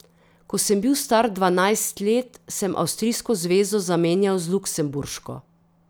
Ko sem bil star dvanajst let, sem avstrijsko zvezo zamenjal z luksemburško.